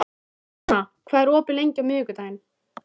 Lýðveldið, gerirðu þér grein fyrir því?